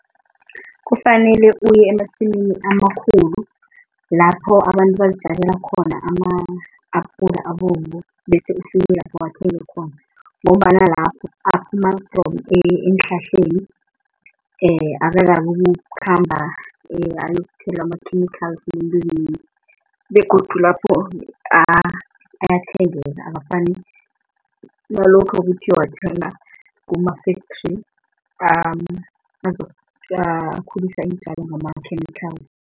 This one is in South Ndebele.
Kufanele uye emasimini amakhulu, lapho abantu bazitjalela khona ama-apula abovu, bese ufike lapho uwathenge khona. Ngombana lapho aphuma from eenhlahleni akakabi ukukhamba ayokuthelwa ama-chemical eentweni begodu lapho ayathengeka akufani nalokha uthi uyowathenga kuma-factory akhulisa iintjalo ngama-chemicals.